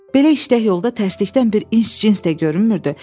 Belə işdə yolda təklikdən bir ins-cins də görünmürdü.